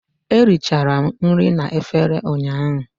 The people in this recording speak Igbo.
Eri chara m nri na efere ụnyaahụ